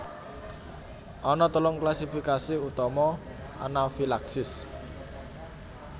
Ana telung klasifikasi utama anafilaksis